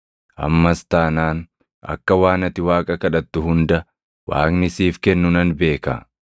Ammas taanaan akka waan ati Waaqa kadhattu hunda Waaqni siif kennu nan beeka.”